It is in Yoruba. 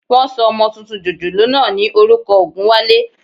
Wọ́n sọ ọmọ tuntun jòjòló náà ní orúkọ Ògúnwálé